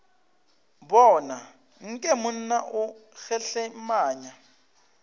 bona nke monna o kgehlemanya